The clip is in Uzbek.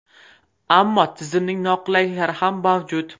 Ammo tizimning noqulayliklari ham mavjud.